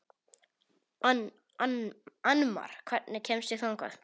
Annmar, hvernig kemst ég þangað?